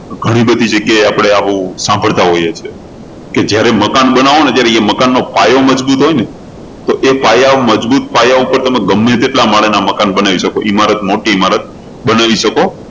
ઘણી બધી જગ્યાએ આપણે આવું સાંભળતા હોઈએ છીએ કે જયારે મકાન બનાવો ને ત્યારે એ મકાનનો પાયો મજબૂત હોય ને તો એ પાયા મજબૂત પાયા ઉપર તમે ગમે એટલા માળના મકાન બનાવી શકો ઈમારત મોટી ઈમારત બનાવી શકો